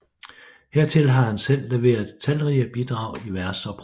Hertil har han selv leveret talrige bidrag i vers og prosa